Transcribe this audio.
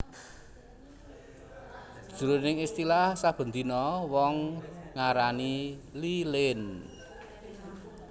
Jroning istilah saben dina wong ngarani lilin